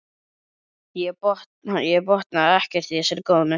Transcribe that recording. Ég botnaði ekkert í þessari góðmennsku.